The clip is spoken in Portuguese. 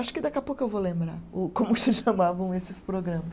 Acho que daqui a pouco eu vou lembrar o como se chamavam esses programas.